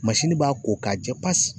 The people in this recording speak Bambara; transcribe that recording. b'a ko ka jɛ pasi.